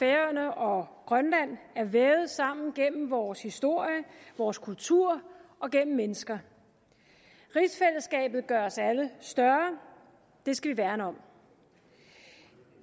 færøerne og grønland er vævet sammen gennem vores historie vores kultur og gennem mennesker rigsfællesskabet gør os alle større det skal vi værne om